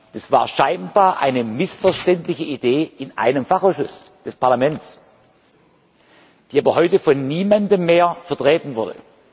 Das war scheinbar eine missverständliche Idee in einem Fachausschuss des Parlaments, die aber heute von niemandem mehr vertreten wurde.